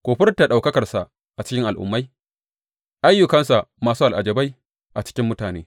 Ku furta ɗaukakarsa a cikin al’ummai, ayyukansa masu al’ajabai a cikin mutane.